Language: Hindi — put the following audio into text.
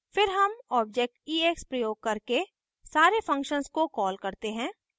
फिर हम object ex प्रयोग करके सारे functions को कॉल करते हैं